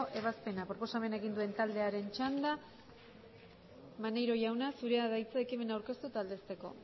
ebazpena proposamena egin duen taldearen txanda maneiro jauna zurea da hitza ekimena aurkeztu eta aldezteko